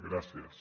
gràcies